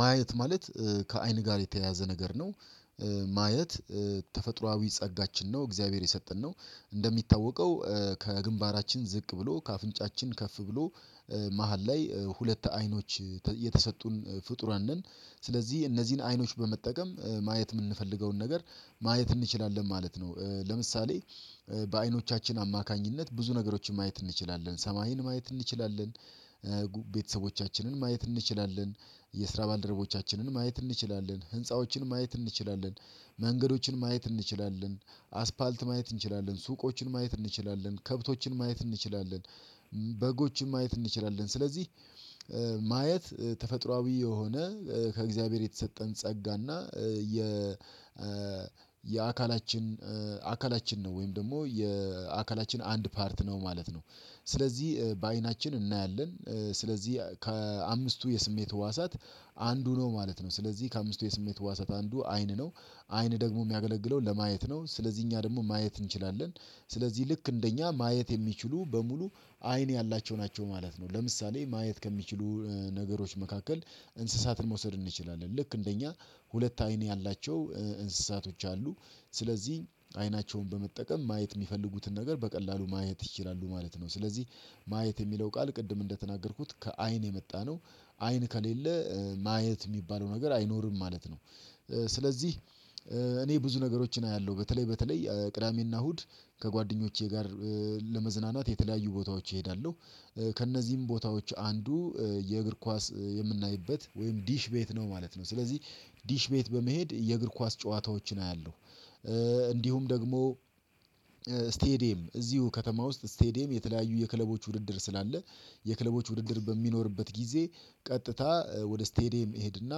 ማየት ማለት ከአይን ጋር የተያያዘ ነገር ነው። ማየት ተፈጥሮአዊ ጸጋችን ነው እግዚአብሔር የሰጠን ነው እንደሚታወቀው ከግንባራችን ዝቅ ብሎ ከአፍንጫችን ከፍ ብሎ። መሃል ላይ ሁለት አይኖች የተሰጡን ፍጡራን ነን። ስለዚህ እነዚህን አይኖች በመጠቀም ማየት የምንፈልገውን ነገር ማየት እንችላለን ማለት ነው። ለምሳሌ በአይኖቻችን አማካኝነት ብዙ ነገሮችን ማየት እንችላለን ሰማይን ማየት እንችላለን። ቤተሰቦቻችንን ማየት እንችላለን የስራ ባልደረቦቻችንን ማየት እንችላለን ህንፃዎችን ማየት እንችላለን መንገዶችን ማየት እንችላለን አስፓልት ማየት እንችላለን ሱቆችን ማየት እንችላለን ከብቶችን ማየት እንችላለን። በጎችን ማየት እንችላለን ስለዚህ ማየት ተፈጥሮአዊ የሆነ ከእግዚአብሔር የተሰጠን ጸጋና የ የአካላችን አካላችን ነው ወይም ደግሞ የአካላችን አንድ ፓርት ነው ማለት ነው። ስለዚህ በአይናችን እናያለን ስለዚህ ከአምስቱ የስሜት ህዋሳት አንዱ ነው ማለት ነው። ስለዚህ ከአምስቱ የስሜት ህዋሳት አንዱ አይን ነው። አይን ደግሞ የሚያገለግለው ለማየት ነው ስለዚህ እኛ ደግሞ ማየት እንችላለን። ስለዚህ ልክ እንደኛ ማየት የሚችሉ በሙሉ አይን ያላቸው ናቸው ማለት ነው። ለምሳሌ ማየት ከሚችሉ ነገሮች መካከል እንስሳትን መውሰድ እንችላለን ልክ እንደ እኛ ሁለት አይን ያላቸው እንስሳቶች አሉ። ስለዚህ አይናቸውን በመጠቀም ማየት የሚፈልጉትን ነገር በቀላሉ ማየት ይችላሉ ማለት ነው። ስለዚህ ማየት የሚለው ቃል ቅድም እንደተናገርኩት ከአይን የመጣነው አይን ከሌለ ማየት የሚባለው ነገር አይኖርም ማለት ነው። ስለዚህ እኔ ብዙ ነገሮችን አያለሁ በተለይ በተለይ ቅዳሜና እሁድ ከጓደኞቼ ጋር ለመዝናናት የተለያዩ ቦታዎች እሄዳለሁ። ከእነዚህም ቦታዎች አንዱ የእግር ኳስ የምናይበት ወይም ዲሽ ቤት ነው ማለት ነው። ስለዚህ ዲሽ ቤት በመሄድ የእግር ኳስ ጨዋታዎችን አያለሁ። እንዲሁም ደግሞ ስቴዲየም እዚሁ ከተማ ውስጥ ስቴዲየም የተለያዩ የክለቦች ውድድር ስላለ የክለቦች ውድድር በሚኖርበት ጊዜ ቀጥታ ወደ ስቴዲየም እሄድና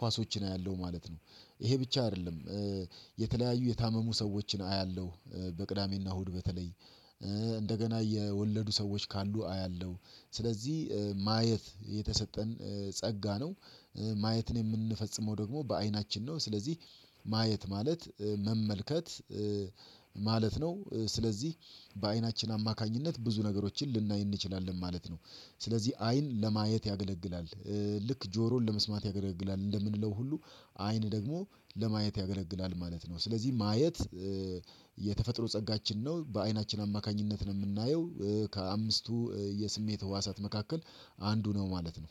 ኳሶችን አያለሁ ማለት ነው። ይሄ ብቻ አይደለም። የተለያዩ የታመሙ ሰዎችን አያለሁ በቅዳሜና እሁድ በተለይ እንደገና የወለዱ ሰዎች ካሉ አያለው ስለዚህ ማየት የተሰጠን ጸጋ ነው። ማየትን የምንፈጽመው ደግሞ በአይናችን ነው። ስለዚህ ማየት ማለት መመልከት ማለት ነው። ስለዚህ በአይናችን አማካኝነት ብዙ ነገሮችን ልናይ እንችላለን ማለት ነው። ስለዚህ አይን ለማየት ያገለግላል ልክ ጆሮን ለመስማት ያገለግላል እንደምንለው ሁሉ አይን ደግሞ ለማየት ያገለግላል ማለት ነው። ስለዚህ ማየት የተፈጥሮ ጸጋችን ነው በአይናችን አማካኝነት ነው የምናየው ከአምስቱ የስሜት ህዋሳት መካከል አንዱ ነው ማለት ነው።